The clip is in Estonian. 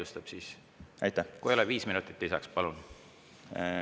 Kui keegi vastu ei ole, siis viis minutit lisaks, palun!